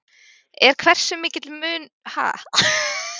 En hversu mikill er munurinn?